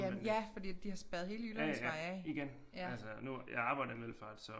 Jamen ja fordi de har spærret hele Jyllandsvej af